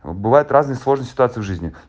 бывают разные сложные ситуации в жизни